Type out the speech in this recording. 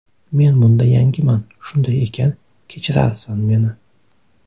Men bunda yangiman, shunday ekan kechirarsan meni.